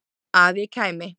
Að ég kæmi?